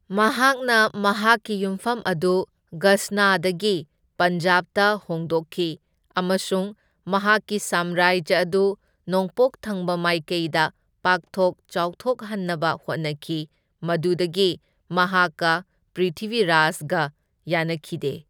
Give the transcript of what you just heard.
ꯃꯍꯥꯛꯅ ꯃꯍꯥꯛꯀꯤ ꯌꯨꯝꯐꯝ ꯑꯗꯨ ꯒꯖꯅꯥꯗꯒꯤ ꯄꯟꯖꯥꯕꯇ ꯍꯣꯡꯗꯣꯛꯈꯤ, ꯑꯃꯁꯨꯡ ꯃꯍꯥꯛꯀꯤ ꯁꯥꯝꯔꯥꯖ꯭ꯌ ꯑꯗꯨ ꯅꯣꯡꯄꯣꯛ ꯊꯪꯕ ꯃꯥꯏꯀꯩꯗ ꯄꯥꯛꯊꯣꯛ ꯆꯥꯎꯊꯣꯛꯍꯟꯅꯕ ꯍꯣꯠꯅꯈꯤ, ꯃꯗꯨꯗꯒꯤ ꯃꯍꯥꯛꯀ ꯄ꯭ꯔꯤꯊꯤꯕꯤꯔꯥꯖꯒ ꯌꯥꯅꯈꯤꯗꯦ꯫